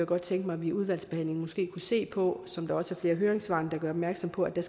godt tænke mig at vi i udvalgsbehandlingen måske kunne se på som også flere af høringssvarene gør opmærksom på at der